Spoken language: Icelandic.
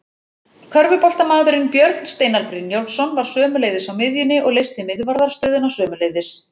Körfuboltamaðurinn Björn Steinar Brynjólfsson var sömuleiðis á miðjunni og leysti miðvarðarstöðuna sömuleiðis.